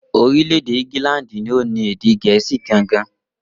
Orílè-èdè Íngílàndì ni o ni èdè gèésì gangan